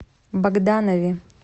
богданове